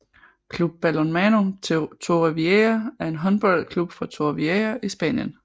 Club Balonmano Torrevieja er en håndboldklub fra Torrevieja i Spanien